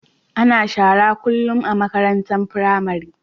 Ana shara kullum a makarantar pramari